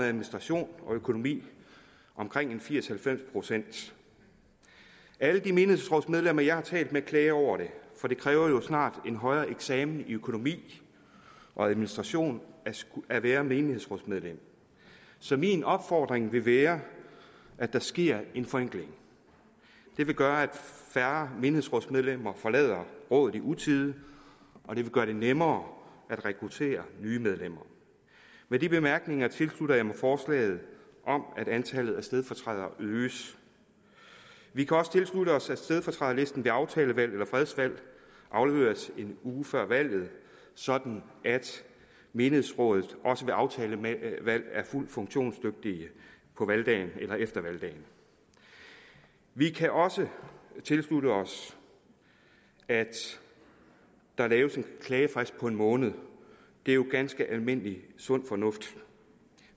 administration og økonomi omkring firs til halvfems procent alle de menighedsrådsmedlemmer jeg har talt med klager over det for det kræver jo snart en højere eksamen i økonomi og administration at være menighedsrådsmedlem så min opfordring vil være at der sker en forenkling det vil gøre at færre menighedsrådsmedlemmer forlader rådet i utide og det vil gøre det nemmere at rekruttere nye medlemmer med de bemærkninger tilslutter jeg mig forslaget om at antallet af stedfortrædere øges vi kan også tilslutte os at stedfortræderlisten ved aftalevalg eller fredsvalg afleveres en uge før valget sådan at menighedsrådet også ved aftalevalg er fuldt funktionsdygtigt på valgdagen eller efter valgdagen vi kan også tilslutte os at der laves en klagefrist på en måned det er jo ganske almindelig sund fornuft